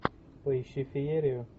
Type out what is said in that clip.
поищи феерию